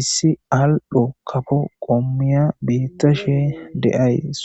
issi al'o kafo qommiya beetashe de'awus .